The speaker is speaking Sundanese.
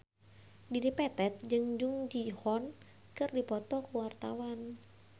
Dedi Petet jeung Jung Ji Hoon keur dipoto ku wartawan